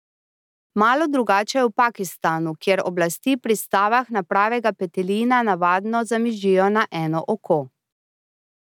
Malo drugače je v Pakistanu, kjer oblasti pri stavah na pravega petelina navadno zamižijo na eno oko.